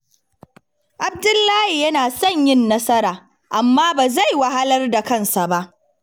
Abdullahi yana son yin nasara, amma ba zai wahalar da kansa ba.